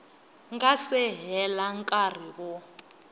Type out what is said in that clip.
nga si hela nkarhi wo